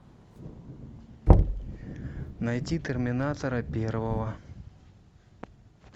найти терминатора первого